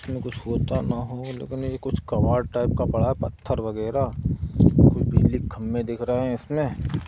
में कुछ होता न हो लेकिन यह कुछ कबाड़ टाइप का पड़ा है पत्थर वगैरह कुछ बिजली के खंभे दिख रहे हैं इसमें--